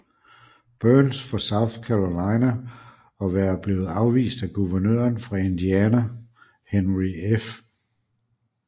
Byrnes fra South Carolina og være blevet afvist af guvernøren fra Indiana Henry F